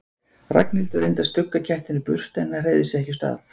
Ragnhildur reyndi að stugga kettinum burt en hann hreyfði sig ekki úr stað.